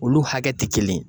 Olu hakɛ ti kelen ye.